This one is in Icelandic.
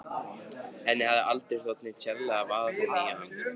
Henni hafði aldrei þótt neitt sérlega varið í hann.